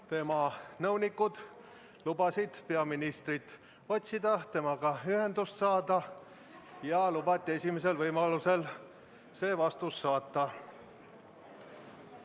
Tema nõunikud lubasid peaministrit otsida, temaga ühendust saada, ja lubati esimesel võimalusel see vastus saata.